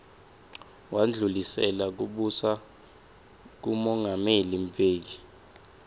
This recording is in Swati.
wandlulisela kubusa kumongameli mbeki